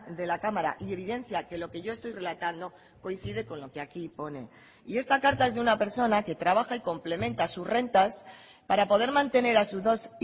de la cámara y evidencia que lo que yo estoy relatando coincide con lo que aquí pone y esta carta es de una persona que trabaja y complementa sus rentas para poder mantener a sus dos